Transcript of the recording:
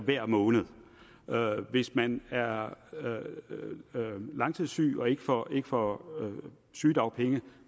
hver måned hvis man er langtidssyg og ikke får ikke får sygedagpenge